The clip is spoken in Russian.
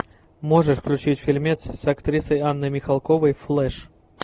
можешь включить фильмец с актрисой анной михалковой флэш